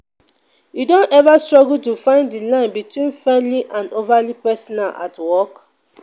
you don ever struggle to find di line between friendly and overly personal at work?